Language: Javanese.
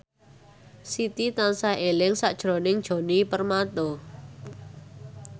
Siti tansah eling sakjroning Djoni Permato